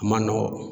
A ma nɔgɔn